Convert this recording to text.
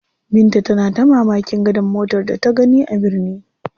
Binta tana ta mamakin gadar motar da ta gani a birni.